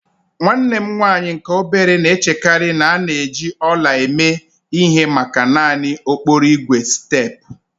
Nwanne m nwanyị nke obere na-echekarị na a na-eji ọla eme ihe maka naanị okporo ígwè steepụ